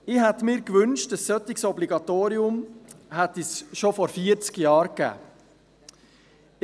Ich hätte mir gewünscht, ein solches Obligatorium hätte es schon vor vierzig Jahren gegeben.